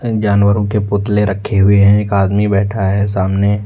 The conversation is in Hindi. जानवरो के पुतले रखे हुए हैं एक आदमी बैठा है सामने।